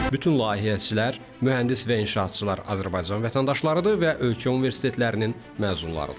Bütün layihəçilər, mühəndis və inşaatçılar Azərbaycan vətəndaşlarıdır və ölkə universitetlərinin məzunlarıdırlar.